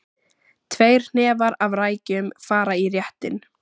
Tveir hnefar af rækjum fara í réttinn.